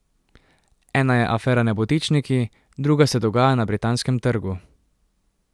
Ena je afera Nebotičniki, druga se dogaja na Britanskem trgu.